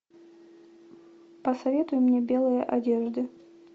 посоветуй мне белые одежды